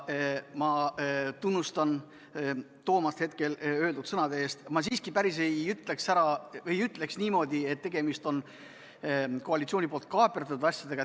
Ma tunnustan Toomast öeldud sõnade eest, aga ma päris nii siiski ei ütleks, et tegemist on koalitsiooni kaaperdatud asjadega.